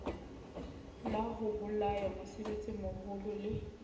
la ho bolaya mosebetsimmoho le